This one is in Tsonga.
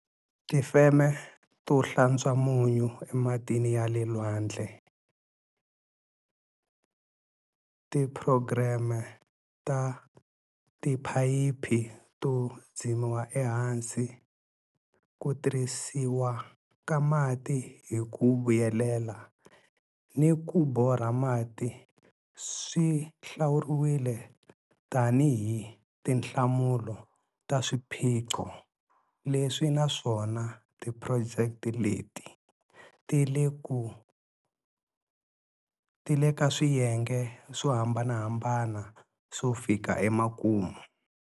Tifeme to hlantswa munyu ematini ya le lwandle, tiphurogireme ta tiphayiphi to dzimiwa ehansi, ku tirhisiwa ka mati hi ku vuyelela ni ku borha mati swi hlawuriwile tanihi tinhlamulo ta swiphiqo leswi naswona tiphurojeke leti ti le ka swiyenge swo hambanahambana swo fika emakumu.